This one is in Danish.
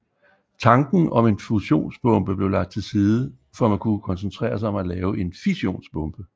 Tanken om en fusionsbombe blev lagt til side for at man kunne koncentrere sig om at lave en fissionsbombe